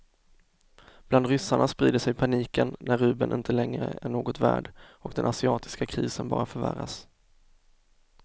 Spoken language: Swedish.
Bland ryssarna sprider sig paniken när rubeln inte längre är något värd och den asiatiska krisen bara förvärras.